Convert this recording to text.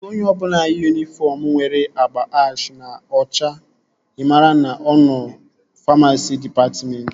Ịhụ onye ọbụla yi yunifọm nwere agba ash na ọcha i maara na ọ nọ famasi dịpatmentị